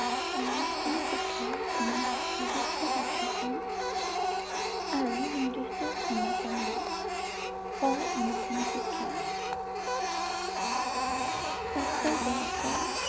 অনানুষ্ঠানিক শিক্ষাৰ কোনো নিদিৰ্ষ্ট পাথ্যক্ৰম আৰু নিৰ্দিষ্ট সময়কাল নাই ৷ আকৌ অনানুষ্ঠানিক শিক্ষা প্ৰাপ্তবয়ষ্কৰ